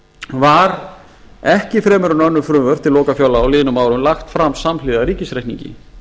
var ekki fremur en önnur frumvörp til lokafjárlaga á liðnum árum lagt fram samhliða ríkisreikningi